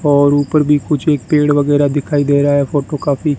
और ऊपर भी कुछ एक पेड़ वगैरा दिखाई दे रहा है फोटो काफी--